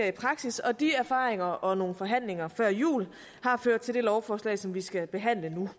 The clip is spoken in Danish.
i praksis og de erfaringer og nogle forhandlinger før jul har ført til det lovforslag som vi skal behandle nu